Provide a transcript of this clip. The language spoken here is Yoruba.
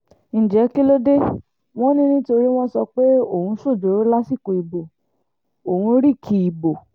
ǹjẹ́ kí ló dé wọn ni nítorí wọ́n sọ pé òun ṣojooro lásìkò ìbò òun rìkì ìbò